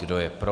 Kdo je pro?